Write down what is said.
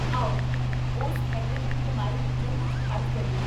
ਆਓ ਉਸ ਮਿਹਨਤ ਦੀ ਕਮਾਈ ਵਿੱਚੋਂ ਕੁੱਝ ਖ਼ਰਚ ਕਰੀਏ